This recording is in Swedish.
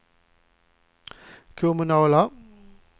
kommunala